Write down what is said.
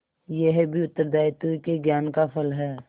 यह भी उत्तरदायित्व के ज्ञान का फल है